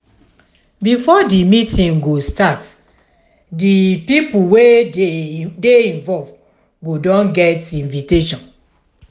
before di meeting go start di pipo wey dey involve go don get invitiation